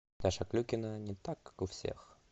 даша клюкина не так как у всех